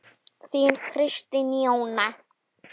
Þín Kristín Jóna.